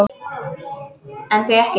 En því ekki?